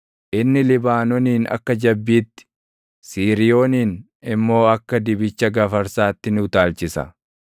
Inni Libaanoonin akka jabbiitti, Siiriyoonin immoo akka dibicha gafarsaatti ni utaalchisa.